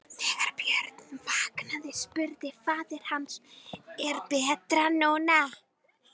Þegar Björn vaknaði spurði faðir hans: Er betra nú?